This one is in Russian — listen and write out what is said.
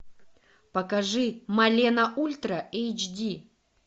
покажи малена ультра эйч ди